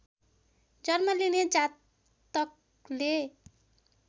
जन्म लिने जातकले